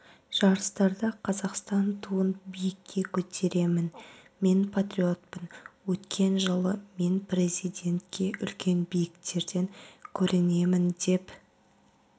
жарыстарда қазақстан туын биікке көтеремін мен патриотпын өткен жылы мен президентке үлкен биіктерден көрінемін деп